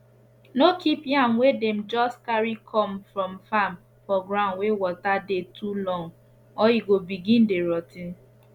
no keep yam wey dem just carry come from farm for gound wey water dey too long or e go begin dey rot ten